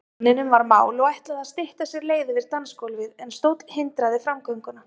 Manninum var mál og ætlaði að stytta sér leið yfir dansgólfið, en stóll hindraði framgönguna.